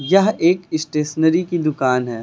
यह एक स्टेशनरी की दुकान है।